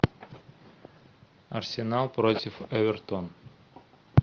арсенал против эвертон